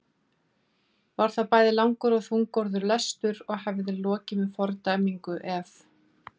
Var það bæði langur og þungorður lestur og hefði lokið með fordæmingu ef